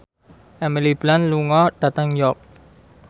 Emily Blunt lunga dhateng York